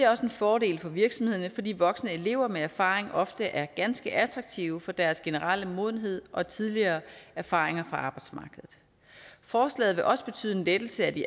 også en fordel for virksomhederne fordi voksne elever med erfaringer ofte er ganske attraktive af deres generelle modenhed og tidligere erfaringer fra arbejdsmarkedet forslaget vil også betyde en lettelse af de